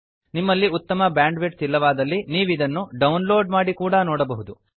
ನಿಮ್ಮಲ್ಲಿ ಉತ್ತಮ ಬ್ಯಾಂಡ್ವಿಡ್ಥ್ ಇಲ್ಲವಾದಲ್ಲಿ ನೀವಿದನ್ನು ಡೌನ್ಲೋಡ್ ಮಾಡಿ ಕೂಡಾ ನೋಡಬಹುದು